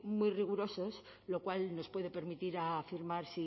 muy rigurosos lo cual nos puede permitir afirmar